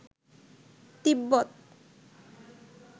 তিব্বত